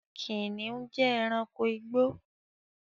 Kìnnìún jẹ́ èránkò igbó